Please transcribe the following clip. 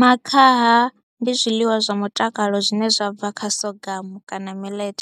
Makhaha ndi zwiḽiwa zwa mutakalo zwine zwa bva kha Sorghum kana Millet